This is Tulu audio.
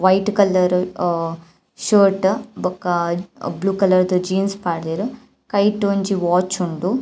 ವೈಟ್ ಕಲರ್ ಅಹ್ ಶರ್ಟ್ ಬೊಕ ಬ್ಲೂ ಕಲರ್ದ ಜೀನ್ಸ್ ಪಾಡ್ದೆರ್ ಕೈಟ್ ಒಂಜಿ ವಾಚ್ ಉಂಡು.